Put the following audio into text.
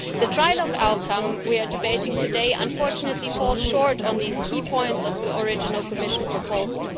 The trilogue outcome we are debating today unfortunately falls short on these key points of the original Commission proposal.